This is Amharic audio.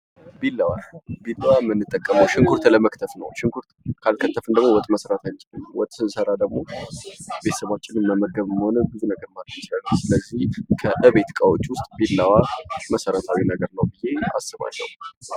ቢላዋ ምንጠቀመው ሽንኩርት ለመክተፍ ነው ።ሽንኩርት ካልከተፍን ወጥ መስራት አንችልም። ወጥ ካልሰራን ደግሞ ቤተሰባችን ማብላት አንችልም። ስለዚህ ቢላዋ መሰረታዊ ነው ብየ አስባለሁ።